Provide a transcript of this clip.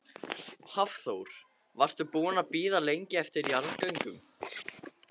Hafþór: Varstu búin að bíða lengi eftir jarðgöngum?